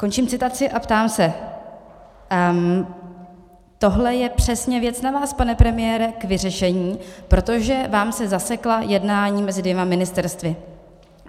Končím citaci a ptám se: Tohle je přesně věc na vás, pane premiére, k vyřešení, protože vám se zasekla jednání mezi dvěma ministerstvy.